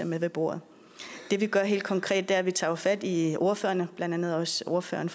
med ved bordet det vi gør helt konkret er jo at vi tager fat i ordførerne blandt andet også ordføreren